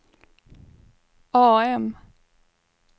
AM